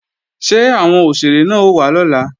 Ṣé àwọn òṣèré náà ó wá lọ́la?